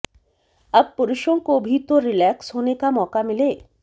अब पुरुषों को भी तो रिलैक्स होने का मौका मिले